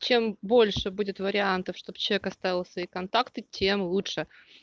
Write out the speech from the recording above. чем больше будет вариантов чтобы человек оставил свои контакты тем лучше